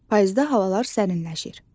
Payızda havalar sərinləşir.